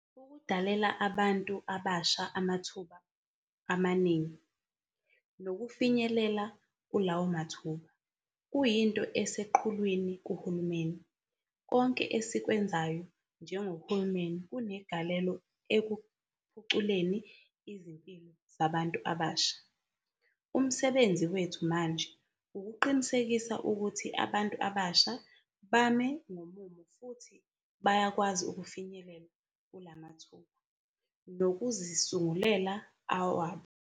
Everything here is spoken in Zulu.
Ukudalela abantu abasha amathuba amaningi, nokufinyelela kulawo mathuba, kuyinto eseqhulwini kuhulumeni. Konke esikwenzayo njengohulumeni kunegalelo ekuphuculeni izimpilo zabantu abasha. Umsebenzi wethu manje ukuqinisekisa ukuthi abantu abasha bame ngomumo futhi bayakwazi ukufinyelela kula mathuba, nokuzisungulela awabo.